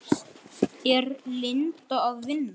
Er Linda að vinna?